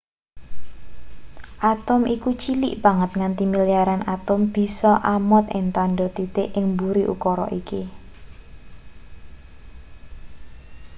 atom iku cilik banget nganti milyaran atom bisa amot ing tandha titik ing mburi ukara iki